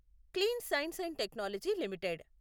clean science and technology limited